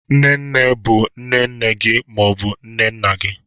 Nne nne bụ nne nne gị ma ọ bụ nne nna gị.